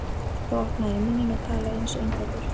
Þá opnaði ég munninn og talaði einsog innfæddur